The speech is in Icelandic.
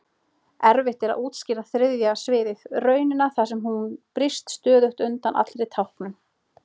Erfitt er að útskýra þriðja sviðið, raunina þar sem hún brýst stöðugt undan allri táknun.